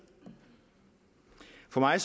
for mig